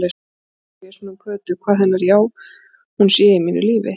Stundum hugsa ég svona um Kötu, hvað hennar já-hún sé í mínu lífi.